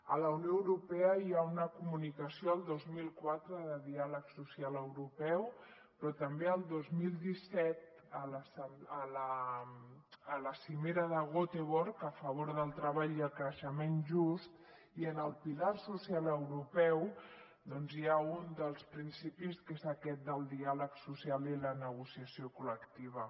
a la unió europea hi ha una comunicació el dos mil cuatro de diàleg social europeu però també el dos mil diecisiete a la cimera de göteborg a favor del treball i el creixement just i en el pilar social europeu doncs hi ha un dels principis que és aquest del diàleg social i la negociació col·lectiva